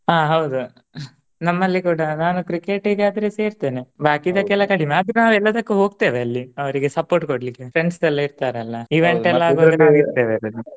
ಹ ಹೌದು ನಮ್ಮಲ್ಲಿ ಕೂಡ ನಾನು Cricket ಇಗೆ ಆದ್ರೆ ಸೇರ್ತೇನೆ ಬಾಕಿದಕ್ಕೆಲ್ಲ ಕಡಿಮೆ ಆದ್ರೂ ನಾವ್ ಎಲ್ಲದಕ್ಕೂ ಹೋಗ್ತೆವೆ ಅಲ್ಲಿ ಅವರಿಗೆ support ಕೊಡ್ಲಿಕ್ಕೆ friends ಎಲ್ಲಾ ಇರ್ತಾರಲ್ಲ. .